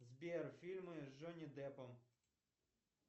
сбер фильмы с джонни деппом